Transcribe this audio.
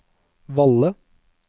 Valle